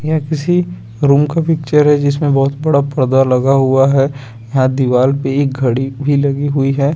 ये किसी रूम का पिचर है जिसमे बहोत बड़ा पर्दा लगा हुआ है यहाँ दीवार पे एक गड़ी भी लगी हुई है।